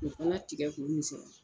O fana tigɛ k'o misɛnya